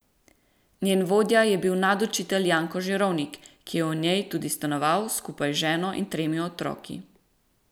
Njen vodja je bil nadučitelj Janko Žirovnik, ki je v njej tudi stanoval skupaj z ženo in tremi otroki.